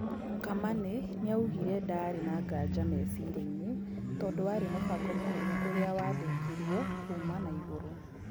Kamanĩ nĩaugire ndaarĩ na nganja mecirĩainĩ tondũwarĩ mũbango mũnene ũrĩa wandĩkirwo kuma na igũrũ.